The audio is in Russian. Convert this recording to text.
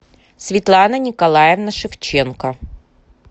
светлана николаевна шевченко